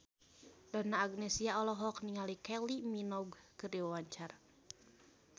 Donna Agnesia olohok ningali Kylie Minogue keur diwawancara